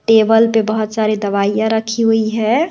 Table पे बहुत सारे दवाइयां रखी हुई है।